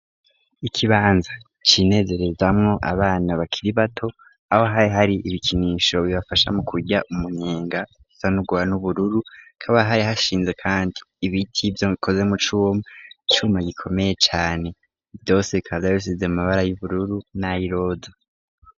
Ikibanza cinezerezamwo abana bakiri bato aho hari hari ibikinisho bibafasha mu kurya umunyenga sanugwa n'ubururu kaba hari hashinze, kandi ibiti ivyo gikozemu c'uwo icuma gikomeye cane vyose kada rosize mabara y'ubururu n'ayiloda.